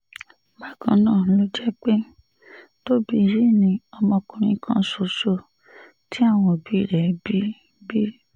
bákan náà ló jẹ́ pé tóbì yìí ni ọmọkùnrin kan ṣoṣo tí àwọn òbí rẹ̀ bí bí